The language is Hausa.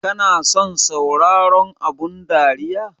Kana son sauraron abun dariya?